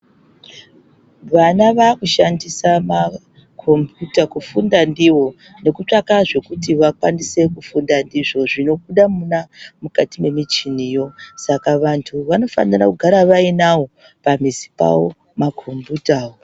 Vana vakushandisa makombiyuta kufunda ndiwo nekutsvaka izvo zvinobuda Muna mukati memichiniyo Saka vantu vanofana kugara vainawo pamuzi pawo makombiyuta awo.